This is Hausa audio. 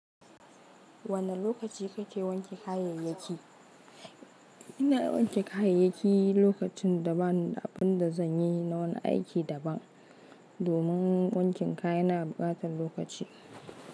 Wane lokaci kake wanke kayayyaki? Ina wanke kayayyaki lokacin da ba ni da abin da zan yi na wani aiki daban, domin wankin kaya na ɓata lokaci.